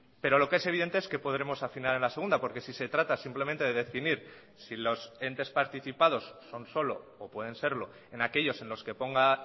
pero lo que es evidente es que podremos afinar en la segunda porque si se trata simplemente de definir si los entes participados son solo o pueden serlo en aquellos en los que ponga